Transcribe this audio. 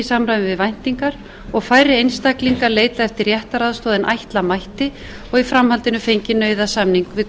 samræmi við væntingar og færri einstaklingar leita eftir réttaraðstoð en ætla mætti og í framhaldinu fengið nauðasamning við